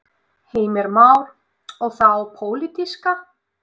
Heimir Már: Og þá pólitíska?